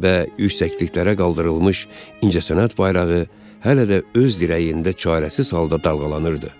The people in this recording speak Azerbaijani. və yüksəkliklərə qaldırılmış incəsənət bayrağı hələ də öz dirəyində çarəsiz halda dalğalanırdı.